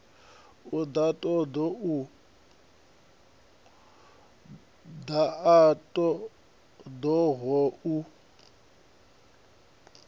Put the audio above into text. ḓa a ṱo ḓaho u